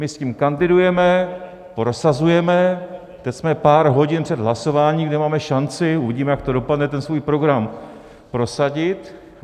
My s tím kandidujeme, prosazujeme, teď jsme pár hodin před hlasováním, kde máme šanci - uvidíme, jak to dopadne - ten svůj program prosadit.